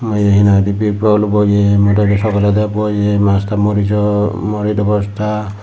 eyeh hinanghoidey bigbabol boyem moido sogoledo boyem masta morijo morijo bosta.